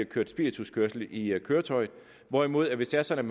kørt spirituskørsel i køretøjet hvorimod hvis det er sådan